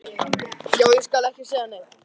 Já, ég skal ekki segja neitt.